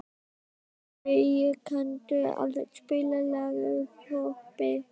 Ölveig, kanntu að spila lagið „Þorpið“?